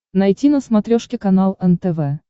найти на смотрешке канал нтв